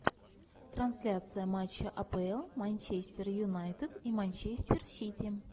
трансляция матча апл манчестер юнайтед и манчестер сити